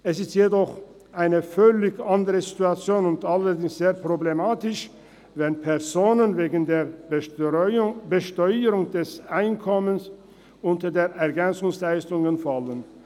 – Es ist jedoch eine völlig andere Situation und sehr problematisch, wenn Personen wegen der Besteuerung des Einkommens EL beziehen müssen.